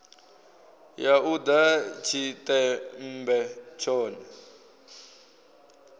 ya u ḓa tshiṱemmbe tshone